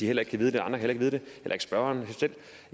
heller ikke kan vide det heller ikke spørgeren